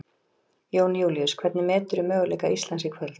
Jón Júlíus: Hvernig meturðu möguleika Íslands í kvöld?